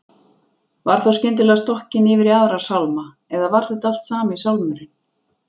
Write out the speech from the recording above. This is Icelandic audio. Var þá skyndilega stokkin yfir í aðra sálma, eða var þetta allt sami sálmurinn?